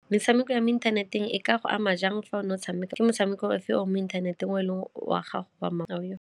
Netshameko ya mo inthaneteng e ka go ama jang fa o ne o tshameka? Ke motshameko ofe mo inthaneteng o leng wa gago wa .